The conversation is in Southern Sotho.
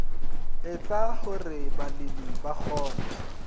etsa hore balemi ba kgone